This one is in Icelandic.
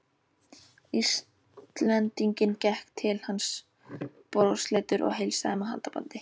Íslendinginn, gekk til hans brosleitur og heilsaði með handabandi.